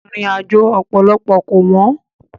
Ìrìnàjò ọ̀pọ̀lọpọ̀ kò wọ́n.